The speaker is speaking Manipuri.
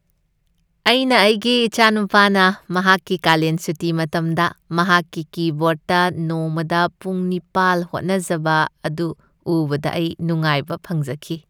ꯑꯩꯅ ꯑꯩꯒꯤ ꯏꯆꯥꯅꯨꯄꯥꯅ ꯃꯍꯥꯛꯀꯤ ꯀꯥꯂꯦꯟ ꯁꯨꯇꯤ ꯃꯇꯝꯗ ꯃꯍꯥꯛꯀꯤ ꯀꯤꯕꯣꯔ꯭ꯗꯇ ꯅꯣꯡꯃꯗ ꯄꯨꯡ ꯅꯤꯄꯥꯜ ꯍꯣꯠꯅꯖꯕ ꯑꯗꯨ ꯎꯕꯗ ꯑꯩ ꯅꯨꯡꯉꯥꯏꯕ ꯐꯪꯖꯈꯤ꯫